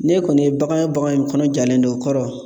N'e kɔni ye bagan ye bagan in kɔnɔ jalen don o kɔrɔ